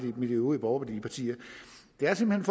med de øvrige borgerlige partier det er simpelt